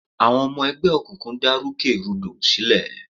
Àwọn ọmọ ẹgbẹ́ òkùnkùn dá rúkè rúdò sílẹ̀.